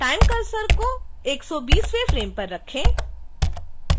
time cursor को 120वें frame पर रखें